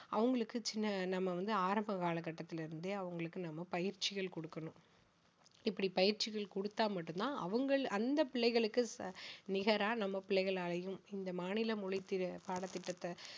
அவங்களுக்கு சின்ன நாம வந்து ஆரம்ப காலகட்டத்தில இருந்தே அவங்களுக்கு நாம பயிற்சிகள் கொடுக்கணும் இப்படி பயிற்சிகள் கொடுத்தா மட்டும் தான் அவங்கள் அந்த பிள்ளைகளுக்கு ச~ நிகரா நம்ம பிள்ளைகளாலையும் இந்த மாநில மொழி தி~ பாடத் திட்டத்த